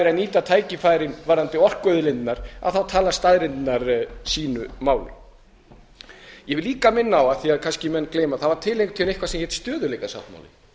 verið að nýta tækifærin varðandi orkuauðlindirnar þá tala staðreyndirnar sínu máli ég vil líka minna á af því að menn kannski gleyma það er til eitthvað sem heitir stöðugleikasáttmáli